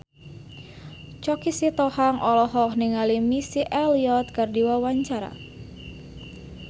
Choky Sitohang olohok ningali Missy Elliott keur diwawancara